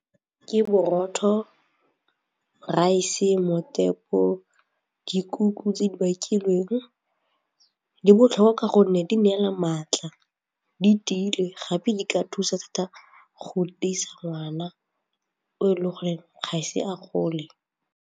Ke borotho, raese dikuku tse di bakilweng di botlhokwa gonne di neela matla di tiile gape di ka thusa thata go tiisa ngwana o e le goreng ga e se a gole.